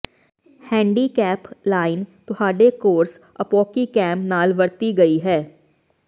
handicap line ਤੁਹਾਡੇ course ਅਪੌਕਿਕੈਮ ਨਾਲ ਵਰਤੀ ਗਈ ਹੈ